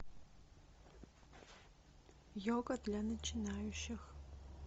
йога для начинающих